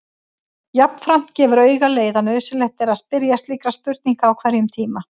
Jafnframt gefur auga leið að nauðsynlegt er að spyrja slíkra spurninga á hverjum tíma.